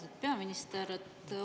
Austatud peaminister!